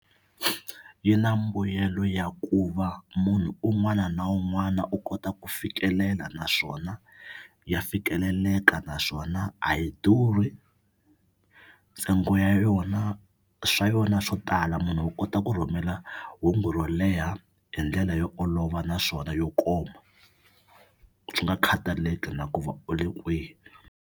Yi na mbuyelo ya ku va munhu un'wana na un'wana u kota ku fikelela naswona ya fikeleleka naswona a yi durhi ntsengo ya yona swa yona swo tala munhu u kota ku rhumela hungu ro leha hi ndlela yo olova naswona yo koma swi nga khataleki na ku va u le kwihi.